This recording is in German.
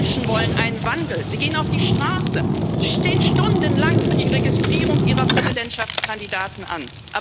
Die Menschen wollen einen Wandel Sie gehen auf die Straße, sie stehen stundenlang für die Registrierung ihrer Präsidentschaftskandidaten an.